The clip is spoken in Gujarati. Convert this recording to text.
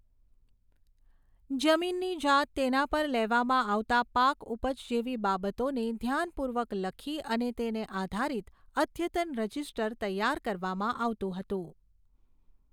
જમીનની જાત તેના પર લેવામાં આવતા પાક ઉપજ જેવી બાબતોને ધ્યાનપૂર્વક લખી અને તેને આધારિત અદ્યતન રજીસ્ટર તૈયાર કરવામાં આવતું હતું.